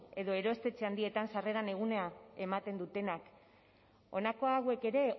edo erostetxe handietan sarreran egunean ematen dutenak honako hauek ere